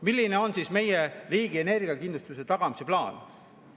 Milline on siis meie riigi energiakindluse tagamise plaan?